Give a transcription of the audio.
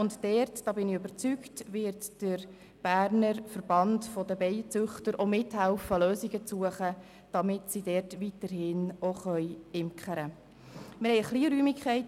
Und ich bin überzeugt, dass der Berner Verband der Bienenzüchter mithelfen wird, Lösungen zu suchen, damit dort auch weiterhin geimkert werden kann.